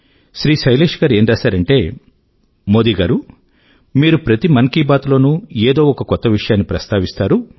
శ్రీ శైలేశ్ గారు ఏం రాశారంటే మోదీ గారూ మీరు ప్రతి మన్ కీ బాత్ లోనూ ఏదో ఒక కొత్త విషయాన్ని ప్రస్తావిస్తారు